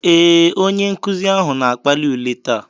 Ee, onye nkuzi ahụ na-akpali ule taa.